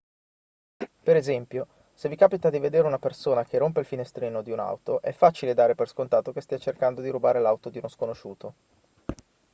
per esempio se vi capita di vedere una persona che rompe il finestrino di un'auto è facile dare per scontato che stia cercando di rubare l'auto di uno sconosciuto